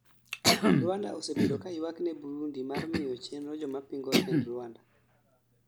Rwanda osebedo ka yuak ne Burundi mar miyo chenro jomapingo tend Rwanda